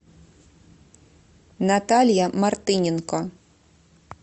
наталья мартыненко